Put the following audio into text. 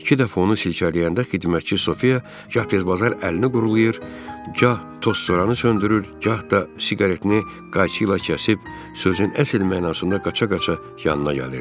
İki dəfə onu silkələyəndə xidmətçi Sofiya gah tərbezbar əlini qurulayır, gah tozsoranı söndürür, gah da siqaretini qayçı ilə kəsib, sözün əsl mənasında qaça-qaça yanına gəlirdi.